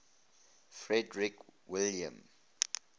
frederick william